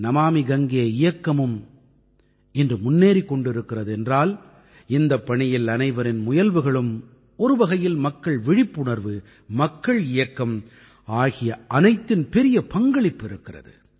நமாமி கங்கே இயக்கமும் இன்று முன்னேறிக் கொண்டு இருக்கிறது என்றால் இந்தப் பணியில் அனைவரின் முயல்வுகளும் ஒரு வகையில் மக்கள் விழிப்புணர்வு மக்கள் இயக்கம் ஆகிய அனைத்தின் பெரிய பங்களிப்பு இருக்கிறது